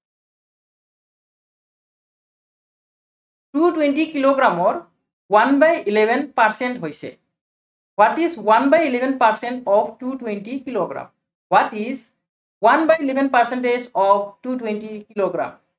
two twenty কিলোগ্ৰামৰ one by eleven percent হৈছে। what is one by eleven percent of two twenty kilogram. what is one by eleven percentage of two twenty kilogram.